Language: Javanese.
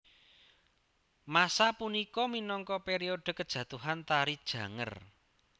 Masa punika minangka periode kejatuhan Tari Janger